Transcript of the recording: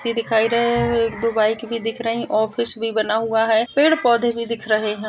यह दिखाई दे रहा है। एक दो बाइक भी दिख रही है। ऑफिस भी बना हुआ है। पेड़-पौधे भी दिख रहे हैं।